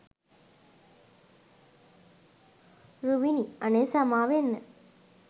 රුවිනි අනේ සමාවෙන්න